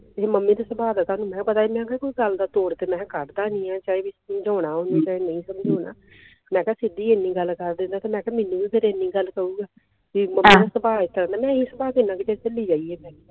mummy ਦੇ ਸੁਭਾਅ ਤਾਂ ਸਾਨੂ ਵੀ ਪਤਾ ਮੈਂ ਕਿਹਾ ਤੂੰ ਚਲਦਾ ਤੇ ਮੈਂ ਕੱਡ ਤਾ ਸੀ ਸਮਝਾਉਣਾ ਓਹਨੂੰ ਕੇ ਨਹੀਂ ਸਮਝਾਉਣਾ ਮੈਂ ਕਿਹਾ ਕਿੱਡੀ ਇੰਨੀ ਗੱਲ ਕਰਦੀ ਮੈਂ ਕਿਹਾ ਮੈਨੂੰ ਵੀ ਫੇਰ ਇੰਨੀ ਗੱਲ ਕਹੂਗਾ